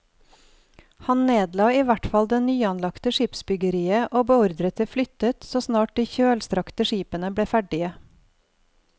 Han nedla i hvert fall det nyanlagte skipsbyggeriet og beordret det flyttet så snart de kjølstrakte skipene ble ferdige.